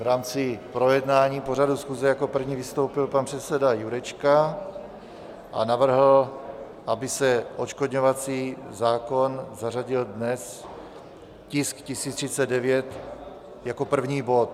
V rámci projednávání pořadu schůze jako první vystoupil pan předseda Jurečka a navrhl, aby se odškodňovací zákon zařadil dnes, tisk 1039, jako první bod.